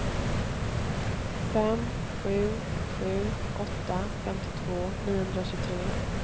fem sju sju åtta femtiotvå niohundratjugotre